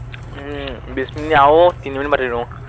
উম বিশ মিনিট আৰু তিনি মিনিট পাতি দিও।